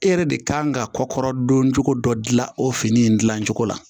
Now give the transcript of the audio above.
E yɛrɛ de kan ka kɔkɔrɔ don cogo dɔ dilan o fini in dilan cogo la